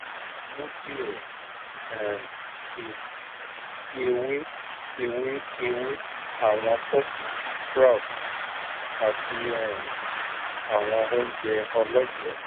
mu diẹ um sii ti ewe ewe ewe awọn pulses sprouts ati um awọn ounjẹ ọlọjẹ